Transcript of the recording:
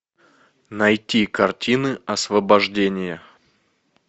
найти картины освобождение